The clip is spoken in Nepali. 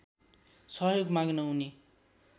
सहयोग माग्न उनी